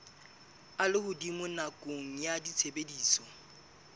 a lehodimo nakong ya tshebediso